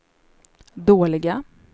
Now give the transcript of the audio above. dåliga